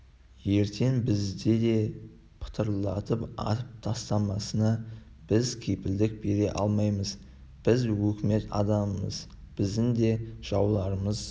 ертең бізді де пытырлатып атып тастамасына біз кепілдік бере алмаймыз біз өкімет адамымыз біздің де жауларымыз